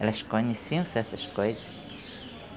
Elas conheciam certas coisas.